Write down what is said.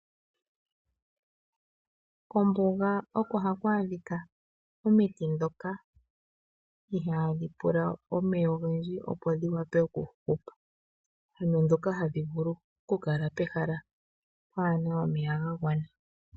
Kombuga oko haku adhika omiti dhoka ihaadhi pula omeya ogendji opo dhi wape okuhupa, ano dhoka hadhi vulu ku kala pehala pwaana omeya ga gwana.